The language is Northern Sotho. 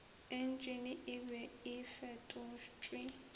entšene e be e fetotšwe